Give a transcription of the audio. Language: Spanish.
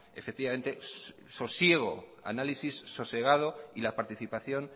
efectivamente sosiego análisis sosegado y la participación